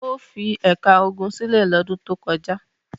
O fi ẹ̀ka ogun sílẹ̀ lọ́dún tó kọjá.